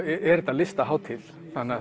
listahátíð